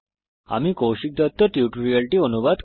এতে অংশগ্রহনের জন্য ধন্যবাদ